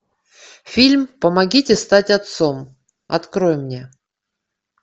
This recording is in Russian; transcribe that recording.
фильм помогите стать отцом открой мне